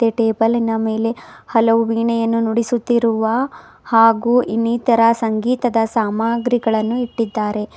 ಟೇಬಲಿ ನ ಮೇಲೆ ಹಲವು ವೀಣೆಯನ್ನು ನುಡಿಸುತ್ತಿರುವ ಹಾಗೂ ಇನ್ನಿತರ ಸಂಗೀತದ ಸಾಮಾಗ್ರಿಗಳನ್ನು ಇಟ್ಟಿದ್ದಾರೆ.